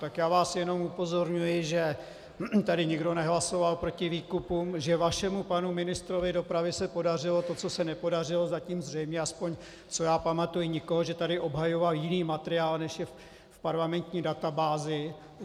Tak já vás jenom upozorňuji, že tady nikdo nehlasoval proti výkupům, že vašemu panu ministrovi dopravy se podařilo to, co se nepodařilo zatím zřejmě, aspoň co já pamatuji, nikomu, že tady obhajoval jiný materiál, než je v parlamentní databázi.